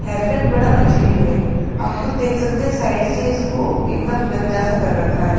Haircut बड़ा अजीब है आप खुद देख सकते हैं साइड से इसको एकदम गंजा सा कर रखा है।